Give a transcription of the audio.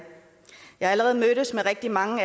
allerede mødtes med rigtig mange